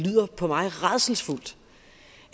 for mig rædselsfuldt